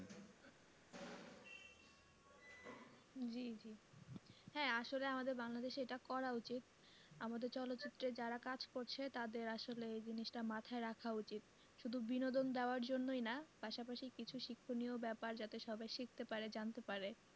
জি জি হ্যাঁ আসলে আমাদের বাংলাদেশে এটা করা উচিত আমাদের চলচিত্রের যার কাজ করছে তাদের আসলে এই জিনিষটা মাথায় রাখা উচিত শুধু বিনোদন দেওয়ার জন্যই না পাশাপাশি কিছু শিক্ষণীয় ব্যাপার যাতে সবাই শিখতে পারে জানতে পারে